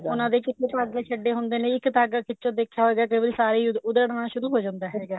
ਉਹਨਾ ਦੇ ਵਿੱਚ ਧਾਗੇ ਛੱਡੇ ਹੁੰਦੇ ਨੇ ਇੱਕ ਧਾਗਾ ਖਿਚੋ ਦੇਖਿਆ ਹੋਏਗਾ ਕਈ ਵਾਰੀ ਸਾਰਾ ਹੀ ਉਦੜਣਾ ਸ਼ੁਰੂ ਹੋ ਜਾਂਦਾ ਹੈਗਾ